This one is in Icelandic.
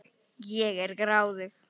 Ég er gráðug.